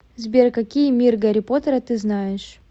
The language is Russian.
сбер какие мир гарри поттера ты знаешь